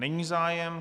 Není zájem.